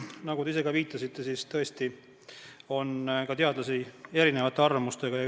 Nagu te ise ka viitasite, siis tõesti on teadlasi erinevate arvamustega.